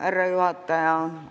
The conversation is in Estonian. Härra juhataja!